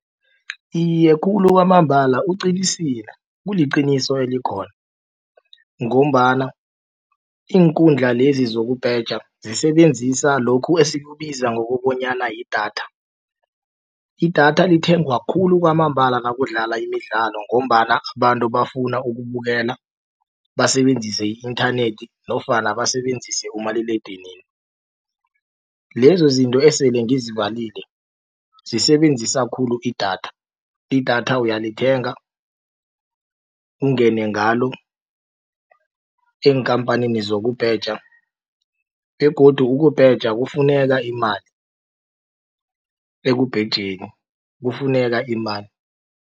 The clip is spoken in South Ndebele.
Iye khulu kwamambala uqinisile kuliqiniso elikhona ngombana iinkundla lezi zokubheja zisebenzisa lokhu esikubiza ngokobanyana yidatha. Idatha lithengwa khulu kwamambala nakudlala imidlalo ngombana abantu bafuna ukubukela basebenzise i-inthanethi nofana basebenzise umaliledinini. Lezo zinto esele ngizibalile zisebenzisa khulu idatha, idatha uyalithenga ungene ngalo eenkhamphanini zokubheja begodu ukubheja kufuneka imali ekubhejeni kufuneka imali.